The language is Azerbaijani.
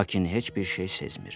Lakin heç bir şey sezmir.